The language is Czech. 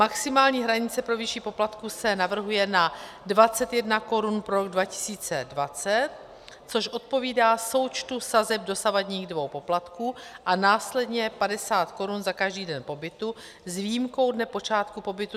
Maximální hranice pro výši poplatku se navrhuje na 21 korun pro rok 2020, což odpovídá součtu sazeb dosavadních dvou poplatků, a následně 50 korun za každý den pobytu s výjimkou dne počátku pobytu.